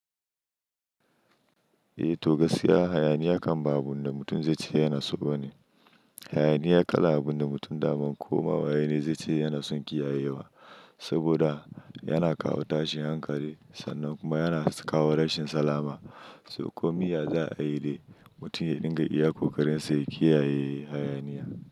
Eh to gaskiya hayaniya kan ba abun da mutum zai ce yana so ba ne. Hayaniya kalan abun da mutum daman komawa yana zai ce yana son kiyayewa, saboda yana kawo tashin hankali, sannan kuma yana kawo rashin salama. Toh, komin ya za a yi dai mutum ya dinga iya kokarin sa ya kiyaye hayaniya.